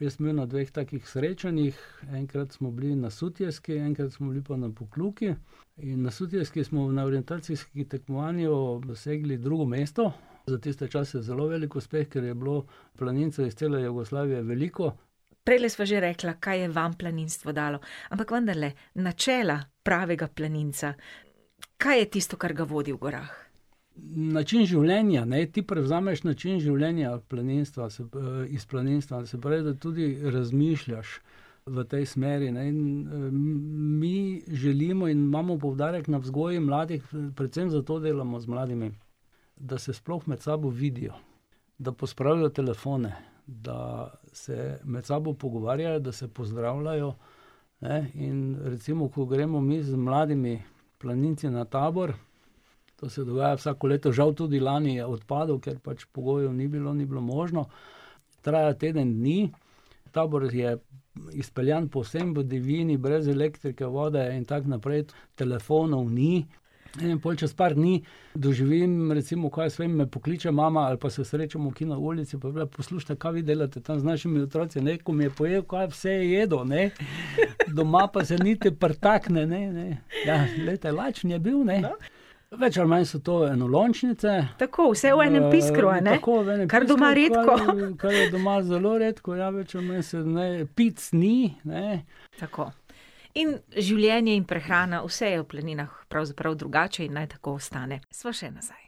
Jaz sem bil na dveh takih srečanjih. Enkrat smo bili na Sutjeski, enkrat smo bili pa na Pokljuki. In na Sutjeski smo na orientacijskem tekmovanju dosegli drugo mesto. Za tiste čase zelo velik uspeh, ker je bilo planincev iz cele Jugoslavije veliko. Prejle sva že rekla, kaj je vam planinstvo dalo, ampak vendarle načela pravega planinca, kaj je tisto, kar ga vodi v gorah? Način življenja, ne. Ti prevzameš način življenja planinstva se iz planinstva, se pravi, da tudi razmišljaš v tej smeri, ne, in mi želimo in mi želimo in imamo poudarek na vzgoji mladih, predvsem zato delamo z mladimi, da se sploh med sabo vidijo, da pospravijo telefone, da se med sabo pogovarjajo, da se pozdravljajo, ne, in recimo, ko gremo mi z mladimi planinci na tabor, to se dogaja vsako leto, žal tudi lani je odpadel, ker pač pogojev ni bilo, ni bilo možno. Traja teden dni. Tabor je izpeljan povsem v divjini, brez elektrike, vode in tako naprej. Telefonov ni in pol čez par dni doživim, recimo, kaj jaz vem, me pokliče mama ali pa se srečamo kje na ulici, pa je bila, poslušajte: "Kaj vi delate tam z našimi otroci, ne, ko mi je , kaj vse je jedel, ne, doma pa se niti pritakne ne." Ja, glejte, lačen je bil, ne. Več ali manj so to enolončnice. Tako, vse v enem piskru, a ne. Kar doma redko ... tako, ne, pisker, kar je doma zelo redko, ja. Več ali manj se ne, pic ni, ne. Tako. In življenje in prehrana, vse je v planinah pravzaprav drugače in naj tako ostane. Sva še nazaj.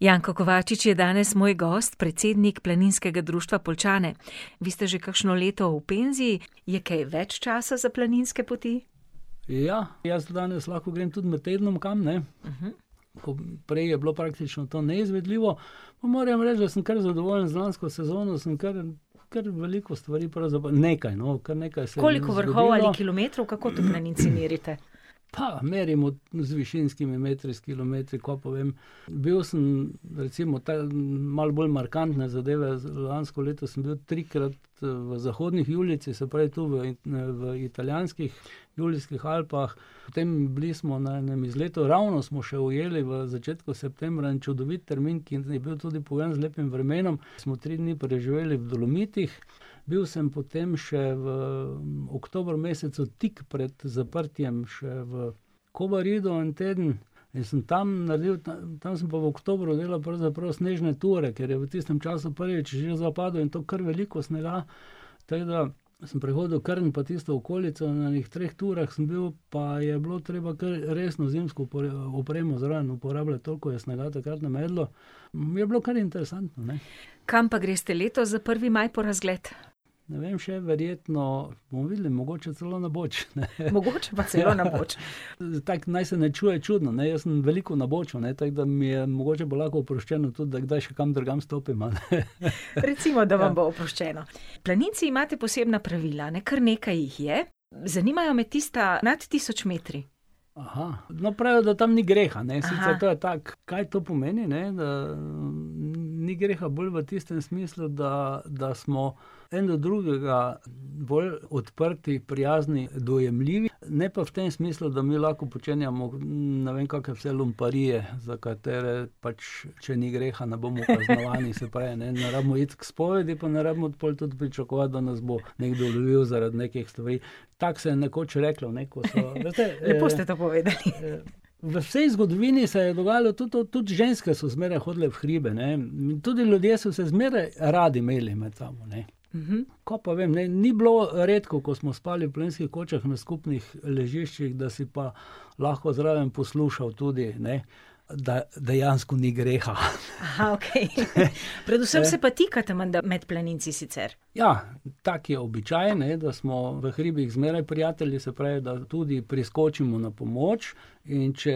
Janko Kovačič je danes moj gost, predsednik Planinskega društva Poljčane. Vi ste že kakšno leto v penziji. Je kaj več časa za planinske poti? Ja, jaz danes lahko grem tudi med tednom kam, ne. Ko prej je bilo praktično to neizvedljivo. Moram reči, da sem kar zadovoljen z lansko sezono, sem kar, kar veliko stvari nekaj no. kar nekaj se jih je zgodilo. Koliko vrhov ali kilometrov? Kako to planinci merite? Pa, merimo z višinskimi metri, s kilometri, kaj pa vem. Bil sem recimo tam malo bolj markantne zadeve, lansko leto sem bil trikrat v Zahodnih Julijcih, se pravi tu v, v italijanskih Julijskih Alpah. Potem bili smo na enem izletu, ravno smo še ujeli v začetku septembra en čudovit termin, ki je bil tudi pogojen z lepim vremenom. Smo tri dni preživeli v Dolomitih. Bil sem potem še v oktobra mesecu, tik pred zaprtjem, še v Kobaridu en teden. In sem tam naredil, tam sem pa v oktobru delal pravzaprav snežne ture, ker je v tistem času prvič že zapadel, in to kar veliko snega. Tako da sem prehodil Krn pa tisto okolico na enih treh turah sem bil, pa je bilo treba kar resno zimsko opremo zraven uporabljati, toliko je snega je takrat namedlo. Je bilo kar interesantno, ne. Kam pa greste letos za prvi maj po razgled? Ne vem še. Verjetno bomo videli, mogoče celo na Boč. Mogoče pa celo na Boč . tako naj se ne čuje čudno, ne. Jaz sem veliko na Boču, ne, tako da mi je mogoče bo lahko oproščeno, tudi da kdaj še kam drugam stopim, ali. Recimo, da vam bo oproščeno. Planinci imate posebna pravila, ne. Kar nekaj jih je, zanimajo me tista nad tisoč metri. no pravijo, da tam ni greha, ne. Sicer to je tako, kaj to pomeni ne, da ni greha bolj v tistem smislu, da, da smo en do drugega bolj odprti, prijazni, dojemljivi. Ne pa v tem smislu, da mi lahko počenjamo, ne vem kake vse lumparije, za katere pač, če ni greha, ne bomo kaznovani, se pravi, ne, ne rabimo iti k spovedi, pa ne rabimo pol tudi pričakovati, da nas bo nekdo lovil zaradi nekih stvari. Tako se je nekoč reklo, ne, ko so ... ... Lepo ste to povedali. V vsej zgodovini se je dogajalo tudi to, tudi ženske so zmeraj hodile v hribe, ne, in tudi ljudje so se zmeraj radi imeli med sabo, ne. Kaj pa vem, ne, ni bilo redko, ko smo spali v planinskih kočah, na skupnih ležiščih, da si pa lahko zraven poslušal tudi, ne. Da dejansko ni greha . okej . Predvsem se pa tikate menda med planinci sicer? Ja, tako je običaj, ne, da smo v hribih zmeraj prijatelji, da tudi priskočimo na pomoč, in če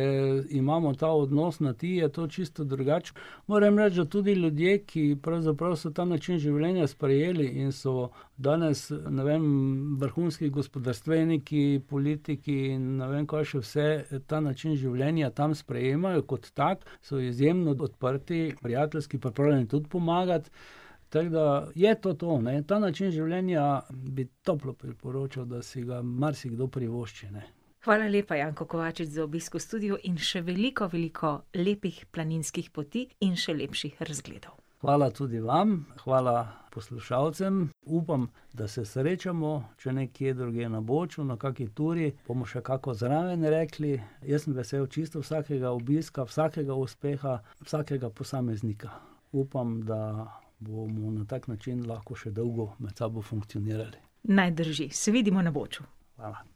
imamo ta odnos na ti, je to čisto drugače. Moram reči, da tudi ljudje, ki pravzaprav so ta način življenja sprejeli in so danes, ne vem, vrhunski gospodarstveniki, politiki, in ne vem kaj še vse, ta način življenja tam sprejemajo kot tak, so izjemno odprti, prijateljski, pripravljeni tudi pomagati, tako da je to to, ta način življenja bi toplo priporočal, da si ga marsikdo privošči. Hvala lepa, Janko Kovačič, za obisk v studiu in še veliko veliko lepih planinskih poti in še lepših razgledov. Hvala tudi vam, hvala poslušalcem, upam da se srečamo, če ne kje drugje, na Boču na kaki turi, bomo še kako zraven rekli. Jaz sem vesel čisto vsakega obiska, vsakega uspeha, vsakega posameznika. Upam, da bomo na tak način lahko še dolgo med sabo funkcionirali. Naj drži, se vidimo na Boču. Hvala.